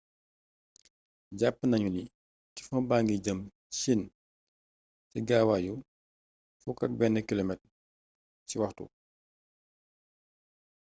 jàpp nañu ni typhon baa ngi jëm chine ci gaawaayu 11km/h